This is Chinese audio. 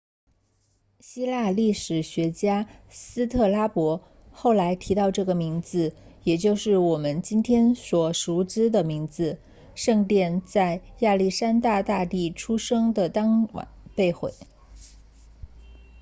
希腊历史学家斯特拉博 strabo 后来提到了这个名字也就是我们今天所熟知的名字圣殿在亚历山大大帝出生的当晚被毁